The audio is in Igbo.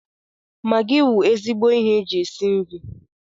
Magị wụ ezigbo ihe eji esi nri.